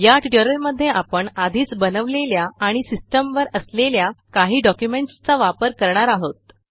या ट्युटोरियलमध्ये आपण आधीच बनवलेल्या आणि सिस्टीमवर असलेल्या काही डॉक्युमेंटसचा वापर करणार आहोत